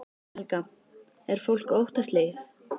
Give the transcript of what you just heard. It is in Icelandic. Helga: Er fólk óttaslegið?